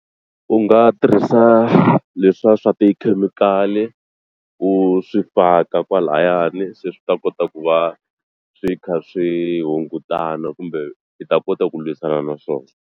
U nga tirhisa leswiya swa tikhemikhali u swi faka kwalayani se swi ta kota ku va swi kha swi hungutana kumbe swi ta kota ku lwisana na swona.